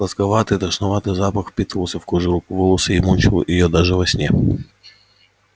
сладковатый тошнотворный запах впитывался в кожу рук в волосы и мучил её даже во сне